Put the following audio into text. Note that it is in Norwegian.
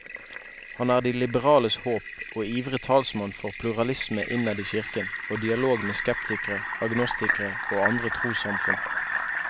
Han er de liberales håp, og ivrig talsmann for pluralisme innad i kirken og dialog med skeptikere, agnostikere og andre trossamfunn.